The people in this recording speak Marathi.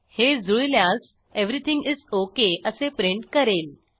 हे जुळल्यास एव्हरीथिंग इस ओक असे प्रिंट करेल